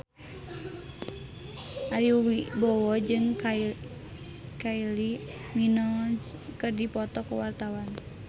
Ari Wibowo jeung Kylie Minogue keur dipoto ku wartawan